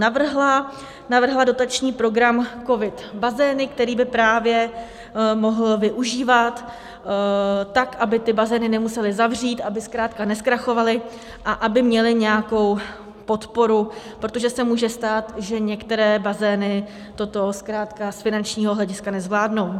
Navrhla dotační program COVID - Bazény, který by právě mohl využívat tak, aby ty bazény nemusely zavřít, aby zkrátka nezkrachovaly a aby měly nějakou podporu, protože se může stát, že některé bazény toto zkrátka z finančního hlediska nezvládnou.